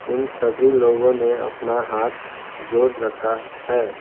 उन सभी लोगों ने अपना हाथ जोड़ रखा है।